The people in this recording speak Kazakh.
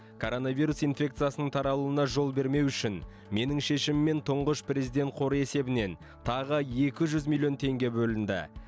коронавирус инфекциясының таралуына жол бермеу үшін менің шешіміммен тұңғыш президент қоры есебінен тағы екі жүз миллион теңге бөлінді